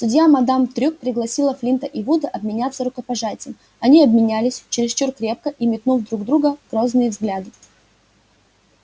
судья мадам трюк пригласила флинта и вуда обменяться рукопожатием они обменялись чересчур крепко и метнув друг в друга грозные взгляды